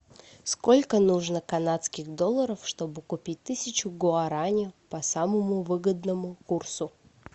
сколько нужно канадских долларов чтобы купить тысячу гуараней по самому выгодному курсу